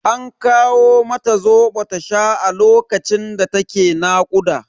An kawo mata Zobo ta sha a lokacin da ta ke nakuda.